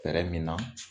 Fɛɛrɛ min na